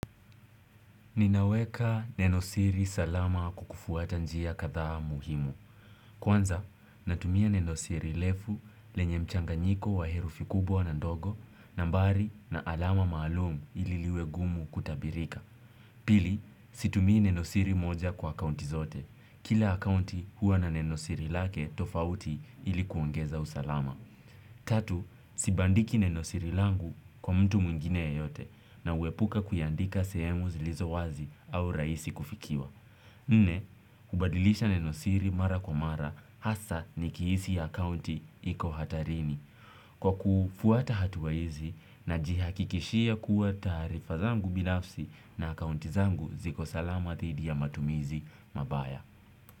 Ninaweka nenosiri salama kwa kufuata njia kadhaa muhimu. Kwanza, natumia nenosiri refu lenye mchanganyiko wa herufi kubwa na ndogo, nambari na alama maalum ili liwe gumu kutabirika. Pili, situmii nenosiri moja kwa akaunti zote. Kila akaunti huwa na nenosiri lake tofauti ili kuongeza usalama. Tatu, sibandiki nenosiri langu kwa mtu mwingine yeyote na huepuka kuiandika sehemu zilizo wazi au rahisi kufikiwa. Nne, hubadilisha nenosiri mara kwa mara hasa nikihisi akaunti iko hatarini. Kwa kufuata hatua hizi najihakikishia kuwa taarifa zangu binafsi na akaunti zangu ziko salama dhidi ya matumizi mabaya.